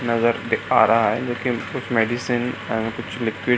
नजर आ रहा है लेकिन कुछ मेडिसिन कुछ लिक्विड --